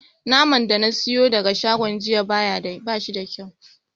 Naman da na siyo daga shagon jiya ba shi da kyau.